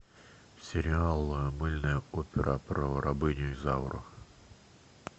сериал мыльная опера про рабыню изауру